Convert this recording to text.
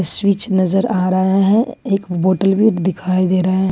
Switch नजर आ रहा है एक बोतल भी दिखाई दे रहा है।